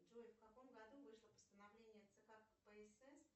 джой в каком году вышло постановление цк кпсс